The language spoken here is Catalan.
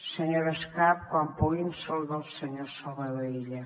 senyora escarp quan pugui em saluda el senyor salvador illa